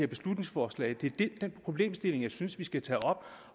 beslutningsforslag det er den problemstilling som jeg synes vi skal tage op